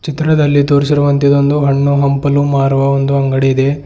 ಚಿತ್ರದಲ್ಲಿ ತೋರಿಸಿರುವಂತೆ ಇದೊಂದು ಹಣ್ಣು ಹಂಪಲು ಮಾರುವ ಒಂದು ಅಂಗಡಿ ಇದೆ.